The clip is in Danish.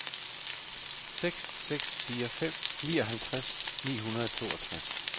seks seks fire fem nioghalvtreds ni hundrede og toogtres